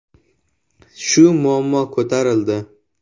Shu muammo ko‘tarildi.